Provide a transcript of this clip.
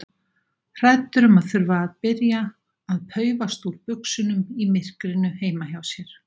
Hræddur um að þurfa að byrja að paufast úr buxunum í myrkrinu heima hjá sér.